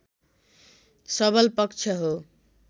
सबल पक्ष हो